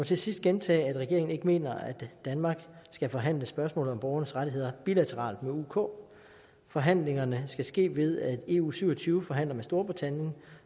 til sidst gentage at regeringen ikke mener at danmark skal forhandle spørgsmål om borgernes rettigheder bilateralt med uk uk forhandlingerne skal ske ved at eu syv og tyve forhandler med storbritannien